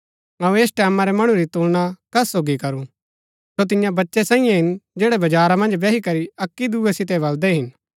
अऊँ ऐस टैमां रै मणु री तुलना कस सोगी करू सो तियां बच्चै सैईये हिन जैड़ै बजारा मन्ज बैही करी अक्की दूये सितै बलदै हिन